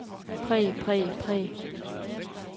præg præg præg